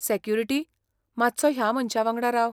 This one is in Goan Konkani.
सेक्युरिटी, मात्सो ह्या मनशा वांगडा राव.